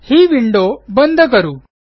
ही window बंद करू